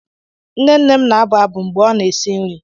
Nne nne m na-abụ abụ mgbe ọ na-esi nri.